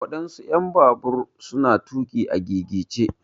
waɗansu en babur su na tuƙi a gigice.